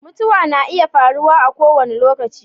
mutuwa na iya faruwa a ko wani lokaci